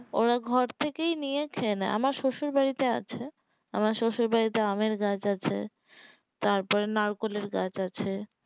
ওরা ঘর থেকেই নিয়ে খেয়ে নেই আমার শশুর বাড়িতেই আছে আমার শশুর বাড়িতে আমের গাছ আছে তারপর নারকোলের গাছ আছে